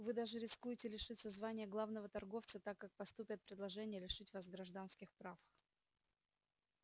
вы даже рискуете лишиться звания главного торговца так как поступят предложения лишить вас гражданских прав